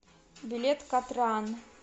билет катран